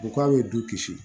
U k'a bɛ du kisi